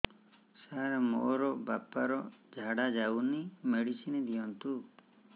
ସାର ମୋର ବାପା ର ଝାଡା ଯାଉନି ମେଡିସିନ ଦିଅନ୍ତୁ